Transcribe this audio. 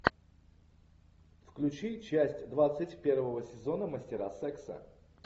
включи часть двадцать первого сезона мастера секса